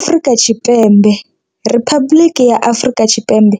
Afrika Tshipembe, Riphabuḽiki ya Afrika Tshipembe,